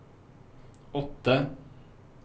åtte